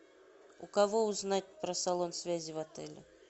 у кого узнать про салон связи в отеле